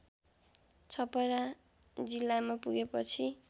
छपरा जिल्लामा पुगेपछि